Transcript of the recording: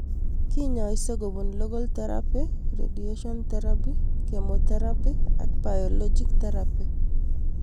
Kinyaise kopun local therapy, radiation therapy, chemotherapy ak biologic therapy